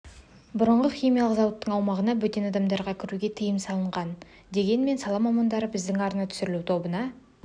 бұрынғы химиялық зауыттың аумағына бөтен адамдарға кіруге тыйым салынған дегенмен сала мамандары біздің арна түсіру тобына